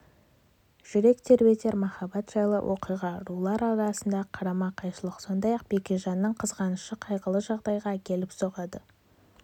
жүрек тербетер махаббат жайлы оқиға рулар арасындағы қарама-қайшылық сондай-ақ бекежанның қызғанышы қайғылы жағдайға әкеліп соғады